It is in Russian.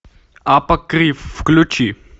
апокриф включи